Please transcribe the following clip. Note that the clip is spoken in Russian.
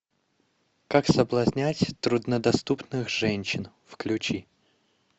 как соблазнять труднодоступных женщин включи